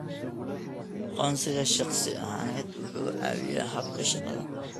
Aqoonsiga shakhsi ahaaneed wuxuu caawiyaa habka shaqada.